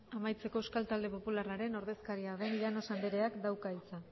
amaitzeko euskal talde popularraren ordezkaria den llanos andreak dauka hitza